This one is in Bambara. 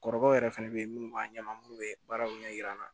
Kɔrɔkɛw yɛrɛ fɛnɛ bɛ ye minnu b'a ɲɛdɔn munnu bɛ baaraw ɲɛ yira an na